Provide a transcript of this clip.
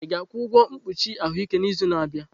Ị ga-akwụ ụgwọ mkpuchi ahụike n'izu na-abịa?